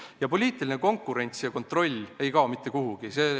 Ja poliitiline konkurents ja kontroll ei kao ka mitte kuhugi.